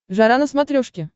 жара на смотрешке